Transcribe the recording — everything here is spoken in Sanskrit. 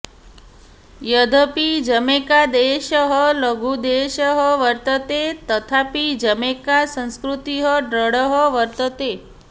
यद्यपि जमैकादेशः लघुदेशः वर्तते तथापि जमैका संस्कृतिः दृढः वर्तते